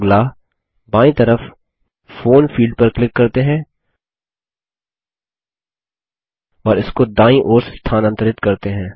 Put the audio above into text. अगला बायीं तरफ फोन फील्ड पर क्लिक करते हैं और इसको दायीं ओर स्थानांतरित करते हैं